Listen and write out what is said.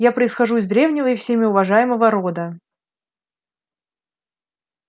я происхожу из древнего и всеми уважаемого рода